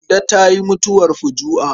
Kande ta yi mutuwar fuju'a.